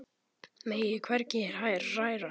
Megi mig hvergi hræra.